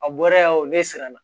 A bɔra yan o ne siran na